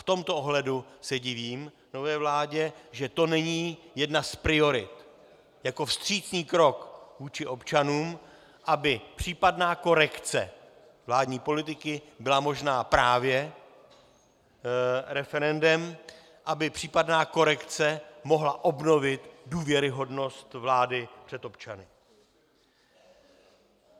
V tomto ohledu se divím nové vládě, že to není jedna z priorit jako vstřícný krok vůči občanům, aby případná korekce vládní politiky byla možná právě referendem, aby případná korekce mohla obnovit důvěryhodnost vlády před občany.